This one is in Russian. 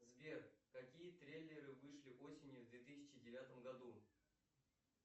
сбер какие трейлеры вышли осенью в две тысячи девятом году